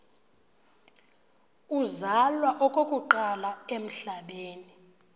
uzalwa okokuqala emhlabeni